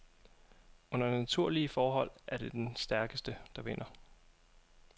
Under naturlige forhold er det den stærkeste, der vinder.